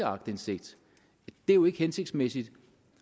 aktindsigt det er jo ikke hensigtsmæssigt